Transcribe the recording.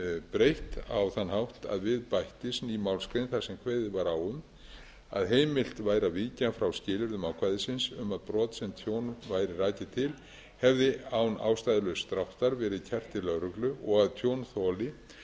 breytt á þann hátt að við bættist ný málsgrein þar sem kveðið var á um að heimilt væri að víkja frá skilyrðum ákvæðisins um að brot sem tjón væri rakið til hefði án ástæðulauss dráttar verið kært til lögreglu og að tjónþoli